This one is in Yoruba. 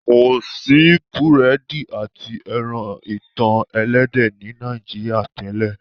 ko sí Búrẹ́dì àti ẹran itan ẹlẹ́dẹ̀ ní Nàìjíríà tèlé.